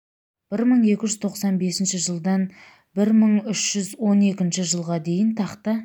бір мың екі жүз тоқсан бесінші жылдан бір мың үш жүз он екінші жылға дейін тақта